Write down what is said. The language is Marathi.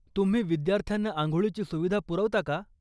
तुम्ही विद्यार्थ्यांना आंघोळीची सुविधा पुरवता का?